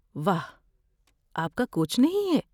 واہ، آپ کا کوچ نہیں ہے؟